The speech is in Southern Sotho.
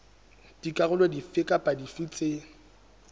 dikarolo dife kapa dife tse